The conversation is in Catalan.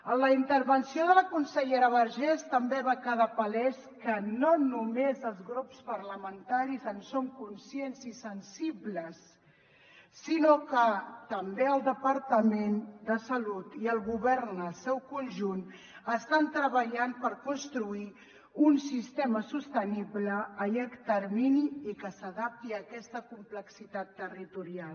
en la intervenció de la consellera vergés també va quedar palès que no només els grups parlamentaris en som conscients i sensibles sinó que també el departament de salut i el govern en el seu conjunt estan treballant per construir un sistema sostenible a llarg termini i que s’adapti a aquesta complexitat territorial